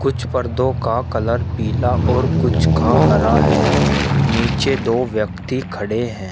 कुछ पर्दों का कलर पीला और कुछ का हरा है। नीचे दो व्यक्ति खड़े हैं।